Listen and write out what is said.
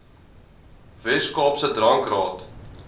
wes kaapse drankraad